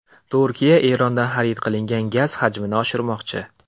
Turkiya Erondan xarid qilinadigan gaz hajmini oshirmoqchi.